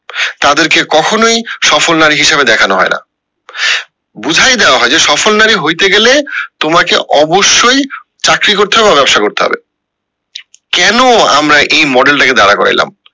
তাদের কে কখনোই সফল নারী হিসাবে দেখানো হয় না বুঝাই দেওয়া হয় যে সফল নারী হইতে গেলে তোমাকে অবশ্যই চাকরি করতে হবে বা ব্যাবসা করতে হবে কেন আমরা এই model টা কে দাঁড় কোরাইলাম।